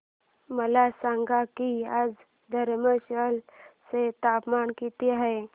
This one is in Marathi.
मला सांगा की आज धर्मशाला चे तापमान किती आहे